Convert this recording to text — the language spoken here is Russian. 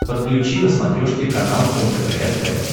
подключи на смотрешке канал лдпр тв